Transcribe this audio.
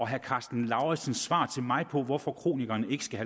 herre karsten lauritzens svar til mig på hvorfor kronikerne ikke skal